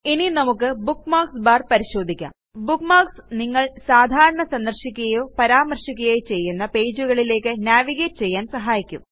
ഇനി നമുക്ക് bookmarks bar പരിശോധിക്കാം ബുക്ക്മാർക്സ് നിങ്ങൾ സാധാരണ സന്ദർശിക്കുകയോ പരാമർശിക്കുകയോ ചെയ്യുന്ന പേജുകളിലേയ്ക്ക് നാവിഗേറ്റ് ചെയ്യാന് സഹായിക്കും